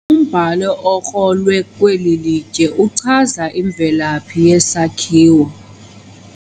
Umbhalo okrolwe kweli litye uchaza imvelaphi yesakhiwo.